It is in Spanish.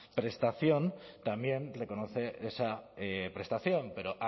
prestación también reconoce esa prestación pero